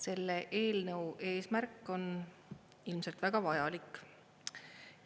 Selle eelnõu eesmärk on ilmselt väga vajalik.